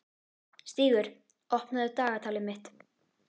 Stígur, opnaðu dagatalið mitt.